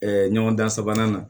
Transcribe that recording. ɲɔgɔndan sabanan na